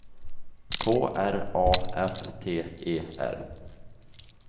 K R A F T E R